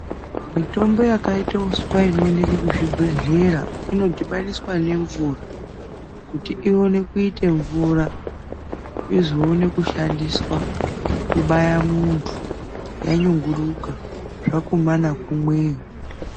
Mitombo yakaita uswa inoonekwa kuzvibhehlera, inodhibaniswa nemvura kuti ionekuita mvura izoone kushandiswa kubaya muntu yanyunguduka, zvakumana kumweyo.